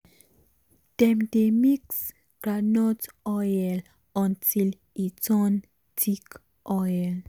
dem dey mix groundnut oil until e turn thick oil